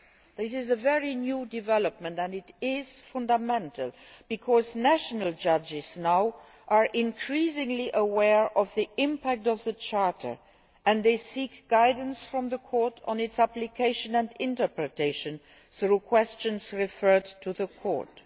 This is a very new development and it is fundamental because national judges are now increasingly aware of the impact of the Charter and they seek guidance from the Court on its application and interpretation through questions referred to the Court.